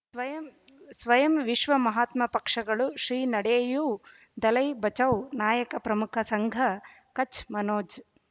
ಸ್ವಯಂ ಸ್ವಯಂ ವಿಶ್ವ ಮಹಾತ್ಮ ಪಕ್ಷಗಳು ಶ್ರೀ ನಡೆಯೂ ದಲೈ ಬಚೌ ನಾಯಕ ಪ್ರಮುಖ ಸಂಘ ಕಚ್ ಮನೋಜ್